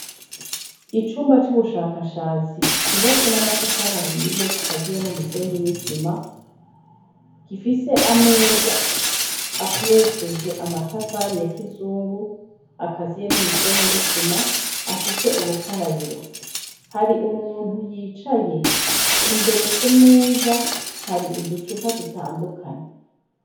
Icumba c'ubushakashatsi cubatse n'amatafari ahiye gikaziye n'umusenyi n'isima gifise ameza akoresheje amatafari ya kizungu akaziye n'umusenyi n'isima afise ubukarabiro, hari umuntu yicaye, imbere ku meza hari uducupa dutandukanye.